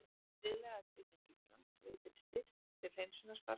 Viðlagatrygging Íslands veitir styrk til hreinsunarstarfsins